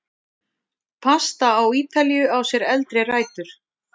Pasta á Ítalíu á sér eldri rætur.